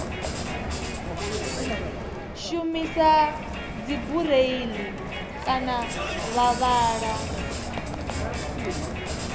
shumisa dzibureiḽi kana vha vhala